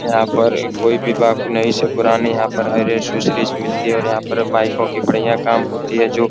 यहाँ पर कोई भी पुरानी से पुरानी यहाँ पर हर एसेसरीज मिलती है और यहाँ पर बाइको की बढ़िया काम होती है जो --